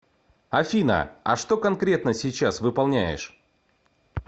афина а что конкретно сейчас выполняешь